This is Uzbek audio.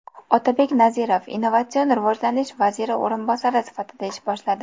Otabek Nazirov Innovatsion rivojlanish vaziri o‘rinbosari sifatida ish boshladi.